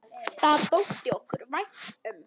Það þótti okkur vænt um.